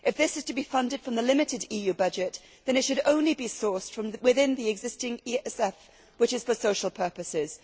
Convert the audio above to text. If this is to be funded from the limited EU budget then it should only be sourced from within the existing ESF, which is for social purposes.